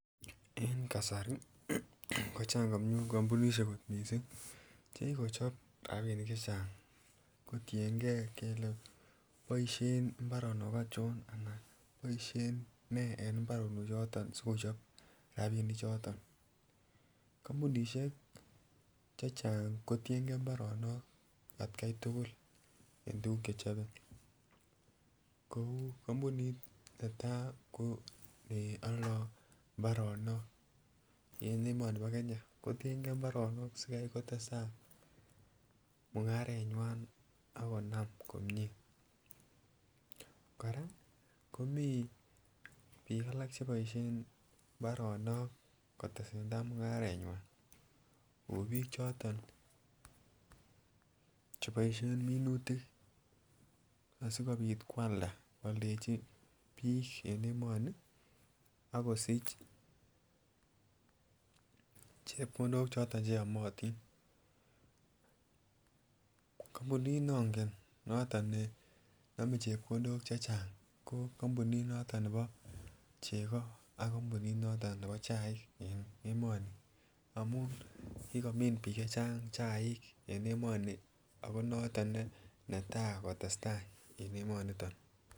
En kasari ko chang kampunisiek kot missing chekikochop rapinik chechang kotiengei kele boisien mbaronok onchon, ana boisien nee en mbaronok choton sikochob rapinik choton. Kampunisiek chechang kotiengei mbaronok atkai tugul en tuguk chechobe kou kampunit netaa ko neoldoo mbaronok en emoni bo Kenya ko tiengei mbaronok sikobit kotestai mung'aretnywan akonam komie. Kora komii biik alak cheboisien mbaronok kotesentaa mung'aretnywan kou biik choton cheboisien minutik asikobit koalda koaldechi biik en emoni akosich chepkondok choton cheyomotin. Kampunit nongen noton nenome chepkondok chechang ko kampunit noton nebo chego ak kampunit noton nebo chaik en emoni amun kikomin biik chechang chaik en emoni ako noton any netaa kotestaa en emoniton